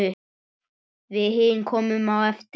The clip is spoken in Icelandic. Við hin komum á eftir.